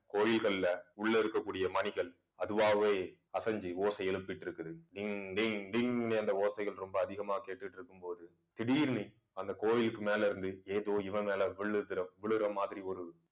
கோயில்கள்ல உள்ள இருக்கக்கூடிய மணிகள் அதுவாகவே அசைஞ்சு ஓசை எழுப்பிட்டிருக்குது டிங் டிங் டிங்னு அந்த ஓசைகள் ரொம்ப அதிகமா கேட்டுட்டு இருக்கும்போது திடீர்னு அந்த கோயிலுக்கு மேல இருந்து ஏதோ இவன் மேல விழுகுற~விழற மாதிரி ஒரு